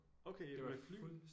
Okay ja med fly?